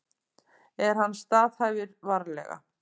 En hann staðhæfir varlega.